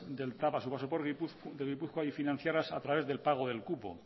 del tav a su paso por gipuzkoa y financiadas a través del pago del cupo